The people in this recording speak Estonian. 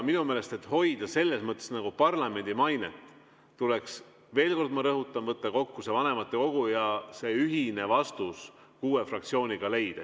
Minu meelest, et hoida selles mõttes nagu parlamendi mainet, tuleks veel kord, ma rõhutan, kutsuda kokku vanematekogu ja see ühine vastus kuue fraktsiooniga leida.